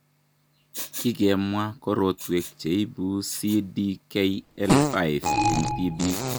Kikemwa korotwek cheibu CDKL5 eng' tibik.